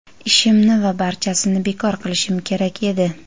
ishimni va barchasini bekor qilishim kerak edi.